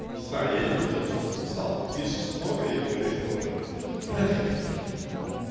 не знаю я не видел что записал ты пишешь многое и говоришь тоже ха ха